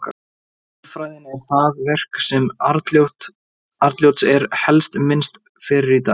Auðfræðin er það verk sem Arnljóts er helst minnst fyrir í dag.